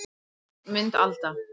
Mynd Alda